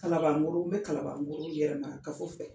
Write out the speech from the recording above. Kalaban Koro n bɛ Kalaban Koro Yɛrɛmakafo fɛ